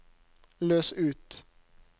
løs ut